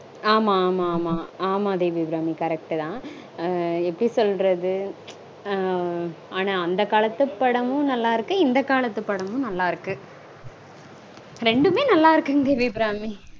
ஆமா ஆமா ஆமா ஆமா. ஆமா தேவி அபிராமி correct -தா. எப்படி சொல்றது? ஆனா அந்த காலத்து படமும் நல்லா இருக்கு. இந்த காலத்து படமும் நல்லா இருக்கு. ரெண்டுமே நல்லா இருக்குங் தேவி அபிராமி